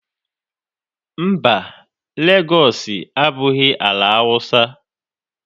Mba, Legọọsị abụghị ala Awụsa.